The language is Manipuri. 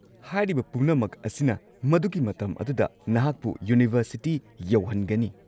ꯍꯥꯏꯔꯤꯕ ꯄꯨꯝꯅꯃꯛ ꯑꯁꯤꯅ ꯃꯗꯨꯒꯤ ꯃꯇꯝ ꯑꯗꯨꯗ ꯅꯍꯥꯛꯄꯨ ꯌꯨꯅꯤꯚꯔꯁꯤꯇꯤ ꯌꯧꯍꯟꯒꯅꯤ꯫